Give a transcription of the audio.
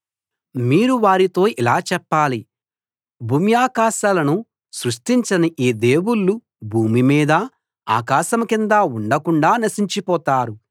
మీరు వారితో ఇలా చెప్పాలి భూమ్యాకాశాలను సృష్టించని ఈ దేవుళ్ళు భూమి మీదా ఆకాశం కిందా ఉండకుండా నశించిపోతారు